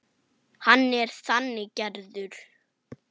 Hann er þannig gerður.